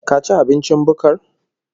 Ka ci abincin bukkar?